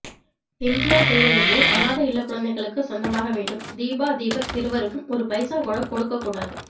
MGR செய்ததுபோல் அநாதை இல்லக்குழந்தைகளுக்கு சொந்தமாகவேண்டும் தீபா தீபக் இருவருக்கும் ஒருபைசா கூட கொடுக்க கூடாது